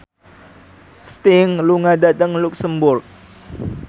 Sting lunga dhateng luxemburg